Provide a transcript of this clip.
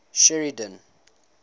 sheridan